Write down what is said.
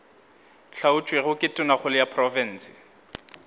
hlaotšwego ke tonakgolo ya profense